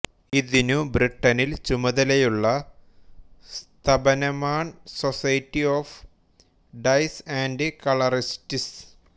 ഇതിനു ബ്രിട്ടനിൽ ചുമതലയുള്ള സ്ഥപനമാൺ society of dyers and colourists